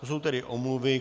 To jsou tedy omluvy.